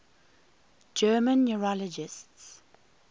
german neurologists